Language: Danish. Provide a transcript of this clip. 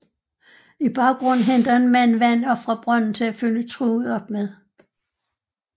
I baggrunden henter en mand vand op fra brønden til at fylde truget op med